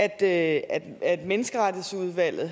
at at menneskeretsudvalget